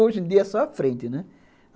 Hoje em dia é só a frente, né?